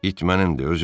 İt mənindir.